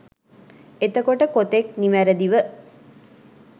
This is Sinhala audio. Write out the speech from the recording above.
එතකොට කොතෙක් නිවැරදිව